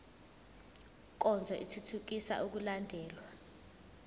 nkonzo ithuthukisa ukulandelwa